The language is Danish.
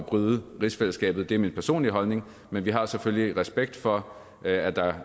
bryde rigsfællesskabet det er min personlige holdning men vi har selvfølgelig respekt for at der